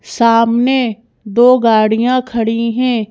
सामने दो गाड़ियां खड़ी हैं।